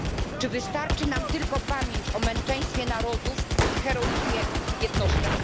Czy wystarczy nam tylko pamięć o męczeństwie narodów i heroizmie jednostek?